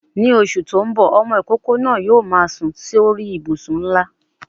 Ni oṣù tí ń bò, ọmọ ìkókó náà yóò máa sùn sórí I ìbùsùn ńlá.